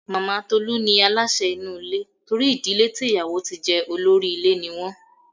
Màmá Tolú ní aláṣẹ inú ilé torí ìdílé tí ìyàwó tí jẹ olórí ilé ní wọ́n.